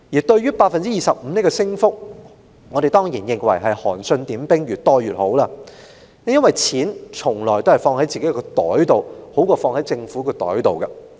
對於25個百分點的提升，我們當然認為是"韓信點兵，多多益善"，因為錢從來是放在自己的口袋中，會較放在政府的口袋中為好。